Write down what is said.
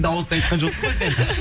дауысты айтқан жоқсың ғой сен қыз